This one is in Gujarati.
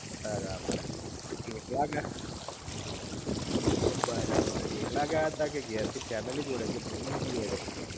બરાબર તો એકલા ગયા બરાબર એકલા ગયાતા કે ઘેર થી ફેમિલી જોડે કે